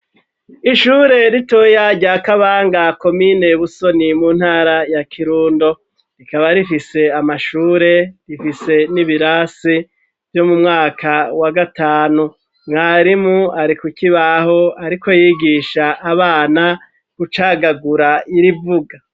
Ishure ritoya rya kabanga komine busoni mu ntara ya kirundo rikaba rifise amashure rifise n'ibirasi vyo mu mwaka wa gatanu mwarimu ari ku kibaho ariko yigisha abana gucagagura irivuga.